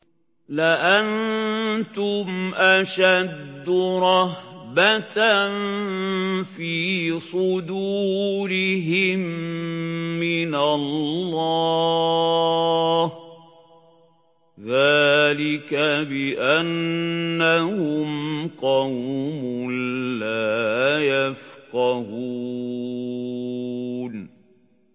لَأَنتُمْ أَشَدُّ رَهْبَةً فِي صُدُورِهِم مِّنَ اللَّهِ ۚ ذَٰلِكَ بِأَنَّهُمْ قَوْمٌ لَّا يَفْقَهُونَ